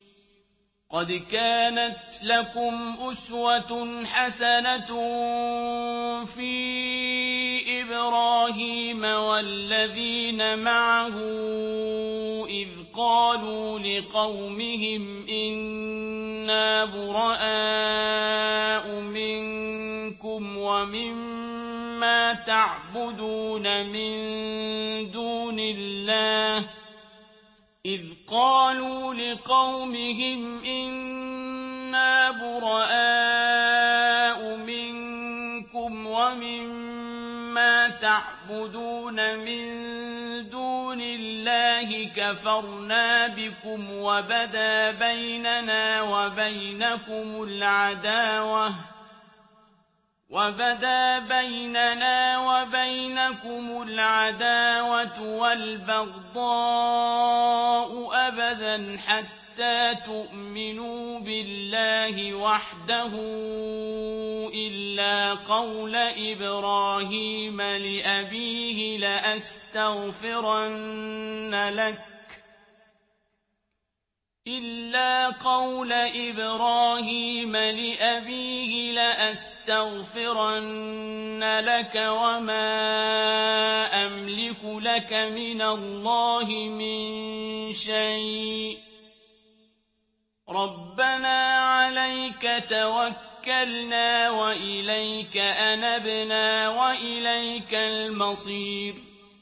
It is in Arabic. قَدْ كَانَتْ لَكُمْ أُسْوَةٌ حَسَنَةٌ فِي إِبْرَاهِيمَ وَالَّذِينَ مَعَهُ إِذْ قَالُوا لِقَوْمِهِمْ إِنَّا بُرَآءُ مِنكُمْ وَمِمَّا تَعْبُدُونَ مِن دُونِ اللَّهِ كَفَرْنَا بِكُمْ وَبَدَا بَيْنَنَا وَبَيْنَكُمُ الْعَدَاوَةُ وَالْبَغْضَاءُ أَبَدًا حَتَّىٰ تُؤْمِنُوا بِاللَّهِ وَحْدَهُ إِلَّا قَوْلَ إِبْرَاهِيمَ لِأَبِيهِ لَأَسْتَغْفِرَنَّ لَكَ وَمَا أَمْلِكُ لَكَ مِنَ اللَّهِ مِن شَيْءٍ ۖ رَّبَّنَا عَلَيْكَ تَوَكَّلْنَا وَإِلَيْكَ أَنَبْنَا وَإِلَيْكَ الْمَصِيرُ